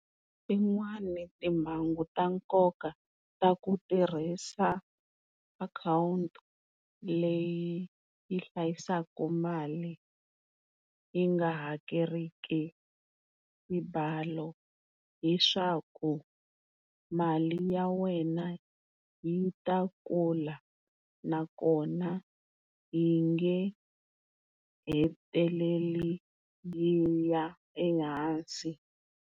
Tin'wani timhangu ta nkoka ta ku tirhisa akhawunti leyi yi hlayisaku mali yi nga hakeriki mibalo hileswaku mali ya wena yi ta kula nakona yi nge heteleli yi ya ehansi.